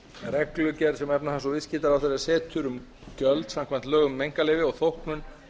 reglugerð sem efnahags og viðskiptaráðherra setur um gjöld samkvæmt lögum um einkaleyfi og þóknun